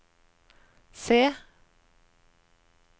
se